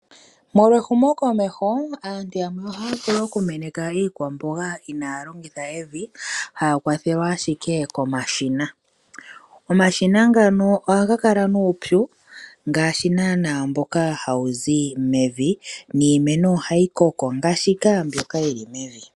Molwa ehumokomeho aantu yamwe ohaya vulu okumeneka iikwamboga inaaya longitha evi haya kwathelwa ashike komashina. Omashina ngano ohaga kala nuupyu ngaashi naanaa mboka hawu zi mevi niimeno ohayi koko ngaashi mbyoka yi li mevi.